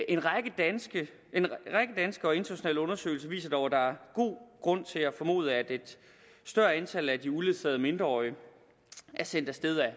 en række danske og internationale undersøgelser viser dog at der er god grund til at formode at et større antal af de uledsagede mindreårige er sendt af sted af